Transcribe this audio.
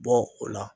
Bɔ o la